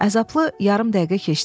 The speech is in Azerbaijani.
Əzablı yarım dəqiqə keçdi.